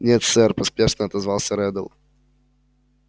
нет сэр поспешно отозвался реддл